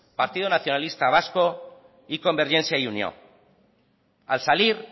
partido nacionalista vasco y convergencia y unió al salir